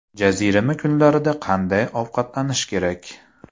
Jazirama kunlarda qanday ovqatlanish kerak?.